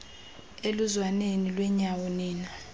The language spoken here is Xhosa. eluzwaneni lwenyawo nina